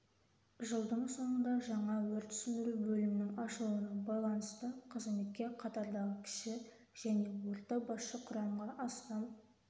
жылдың соңында жаңа өрт сөндіру бөлімінің ашылуына байланысты қызметке қатардағы кіші және орта басшы құрамға астам